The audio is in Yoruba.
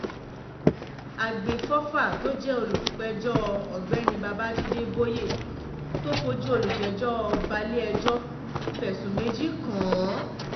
àgbẹ̀fọ́fà tó jẹ́ olùpẹ̀jọ ọ̀gbẹ́ni babájídé bóyé tó fojú olùjẹ́jọ́ balẹ̀-ẹjọ́ fẹ̀sùn méjì kàn án